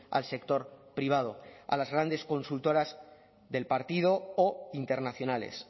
al sector privado a las grandes consultoras del partido o internacionales